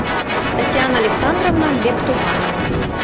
татьяна александровна бектуганова